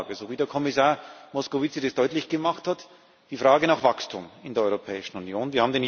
Die Grundlage so wie Kommissar Moscovici es deutlich gemacht hat ist die Frage nach Wachstum in der Europäischen Union.